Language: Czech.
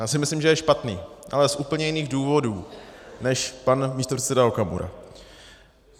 Já si myslím, že je špatný, ale z úplně jiných důvodů než pan místopředseda Okamura.